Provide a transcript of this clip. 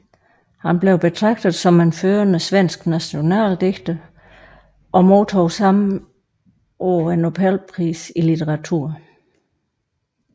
Han blev betragtet som en førende svensk nationaldigter og modtog samme år nobelprisen i litteratur